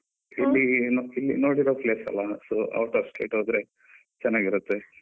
ಇಲ್ಲಿ ಇಲ್ಲಿ ನೋಡಿರೋ place ಅಲ್ಲ, so out of state ಹೋದ್ರೆ ಚೆನ್ನಾಗಿರುತ್ತೆ.